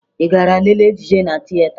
Ị gara lelee ejije na tieta?